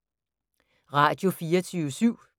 Radio24syv